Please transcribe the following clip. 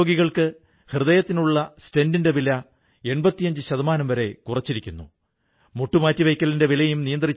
ആഹാരങ്ങൾ അതാത് സ്ഥലത്തെ വിശേഷപ്പെട്ട സാമഗ്രികൾ അതായത് ധാന്യം പച്ചക്കറികൾ പൊടിക്കൂട്ടുകൾ എന്നിവ കൊണ്ടാണ് ഉണ്ടാക്കുന്നത്